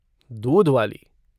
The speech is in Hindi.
दूध वाली।